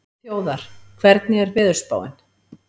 Þjóðar, hvernig er veðurspáin?